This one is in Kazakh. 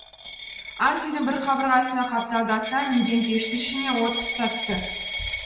ас үйдің бір қабырғасына қапталдаса мінген пештің ішіне от тұтатты